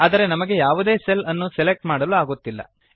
ಆದರೆ ನಮಗೆ ಯಾವುದೇ ಸೆಲ್ ಅನ್ನು ಸೆಲೆಕ್ಟ್ ಮಾಡಲು ಆಗುತ್ತಿಲ್ಲ